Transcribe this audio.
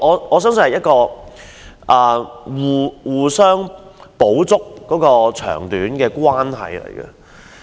我相信這是互相補足長短的關係。